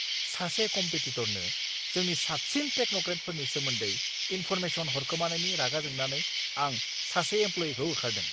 सासे कम्पेटिट'रनो जोंनि साबसिन टेक्न'क्रेटफोरनि सोमोन्दै इन्फ'रमेसन हरखोमानायनि रागा जोंनानै आं सासे एमप्ल'यिखौ होखारदों!